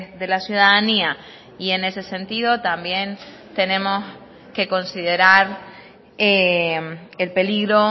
de la ciudadanía y en ese sentido también tenemos que considerar el peligro